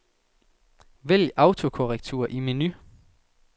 Vælg autokorrektur i menu.